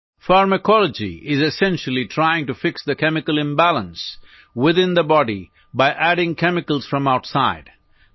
pharmacology is essentially trying to fix the chemical imbalance within the body by adding chemicals from outside